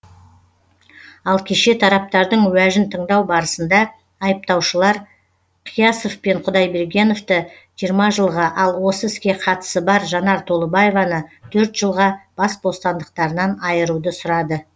ал кеше тараптардың уәжін тыңдау барысында айыптаушылар қиясов пен құдайбергеновті жиырма жылға ал осы іске қатысы бар жанар толыбаеваны төрт жылға бас бостандықтарынан айыруды сұрады